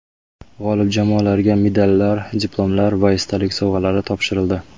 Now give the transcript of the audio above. G‘olib jamoalarga medallar, diplomlar va esdalik sovg‘alari topshirildi.